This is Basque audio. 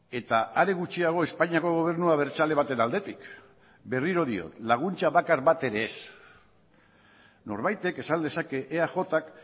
eta are gutxiago espainiako gobernu abertzale baten aldetik berriro diot laguntza bakar bat ere ez norbaitek esan dezake eajk